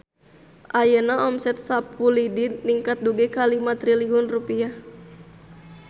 Ayeuna omset Sapu Lidi ningkat dugi ka 5 triliun rupiah